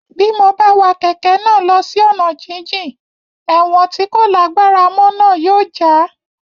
Bí mo bá wa kẹ̀kẹ́ náà lọ sí ọ̀nà jínjìn ẹ̀wọ̀n tí kò lágbára mọ́ náà yóò já